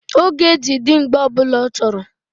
Ọ ga-eji di mgbe ọbụla ọ chọrọ.